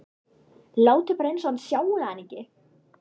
Látið bara eins og þið sjáið hann ekki.